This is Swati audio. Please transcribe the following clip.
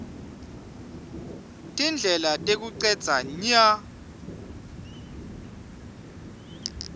tindlela tekucedza nya